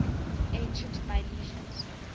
ancient milesians